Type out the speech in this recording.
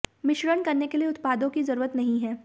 मिश्रण करने के लिए उत्पादों की जरूरत नहीं है